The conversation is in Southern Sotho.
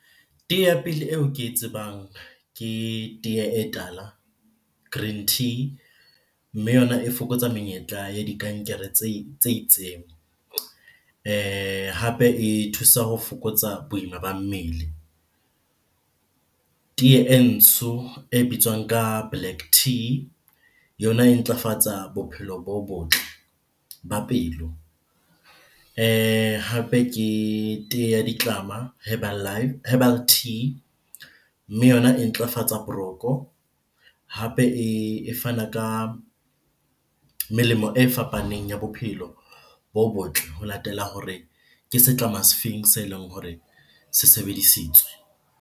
Tee ya pele eo ke e tsebang ke tee e tala, green tea. Mme yona e fokotsa menyetla ya dikankere tse itseng. Hape e thusa ho fokotsa boima ba mmele. Tee e ntsho e bitswang ka black tea yona e ntlafatsa bophelo bo botle ba pelo hape ke tee ya ditlama herbal tea. Mme yona e ntlafatsa boroko hape e fana ka melemo e fapaneng ya bophelo bo botle ho latela hore ke setlama se feng se leng hore se sebedisitswe.